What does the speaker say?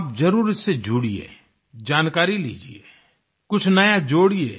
आप जरुर इससे जुड़िये जानकारी लीजिये कुछ नया जोड़ियें